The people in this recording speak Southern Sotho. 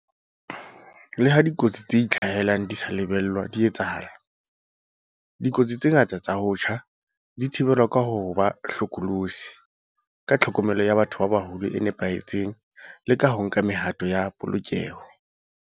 Leha dikotsi tse itlhahelang di sa lebellwa di etsahala, dikotsi tse ngata tsa ho tjha di ka thibelwa ka ho ba hlokolosi, ka tlhokomelo ya batho ba baholo e nepahetseng le ka ho nka mehato ya polokeho.